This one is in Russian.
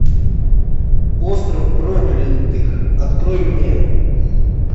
остров проклятых открой мне